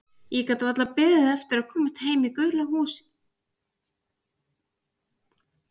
Ég gat varla beðið eftir að komast heim í gula húsið og hefja rannsóknirnar.